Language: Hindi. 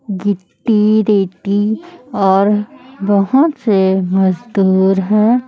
गिट्टी रेती और बहोत से मजदूर हैं।